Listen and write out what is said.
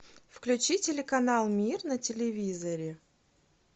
включи телеканал мир на телевизоре